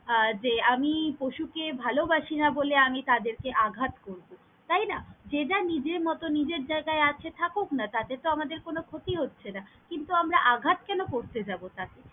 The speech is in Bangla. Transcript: আহ যে আমি পশুকে ভালবাসি না বলে আমি তাদেরকে আঘাত করবো তাইনা? যে যার নিজের মতন নিজের জায়গায় আছে থাকুক না তাতে তো আমাদের ক্ষতি হছেনা, কিন্তু আমারা আঘাত কেন করতে যাব তাকে?